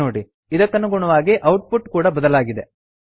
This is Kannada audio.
ನೋಡಿ ಇದಕ್ಕನುಗುಣವಾಗಿ ಔಟ್ಪುಟ್ ಕೂಡಾ ಬದಲಾಗಿದೆ